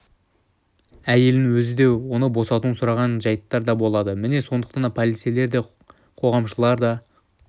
әйелінің өзі оны босатуын сұраған жайттар да болады міне сондықтан да полицейлер де қоғамшылдар да